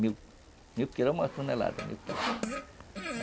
Mil quilos é uma tonelada, mil quilos.